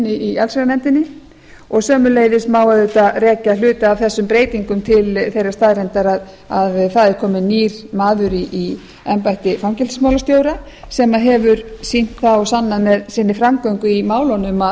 í allsherjarnefndinni og sömuleiðis má auðvitað rekja hluta af þessum breytingum til þeirrar staðreyndar að það er kominn nýr maður í embætti fangelsismálastjóra sem hefur sýnt það og sannað með sinni framgöngu í málunum